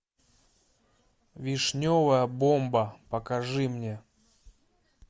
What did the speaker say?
вишневая бомба покажи мне